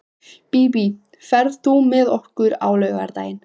Bíbí, ferð þú með okkur á laugardaginn?